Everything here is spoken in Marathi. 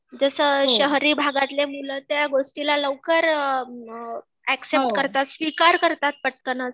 जसं शहरी भागातले मुलं त्या गोष्टीला लवकर अ एक्सैप्ट करतात स्वीकार करतात पटकनच